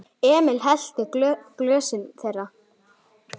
Emil hellti í glösin þeirra.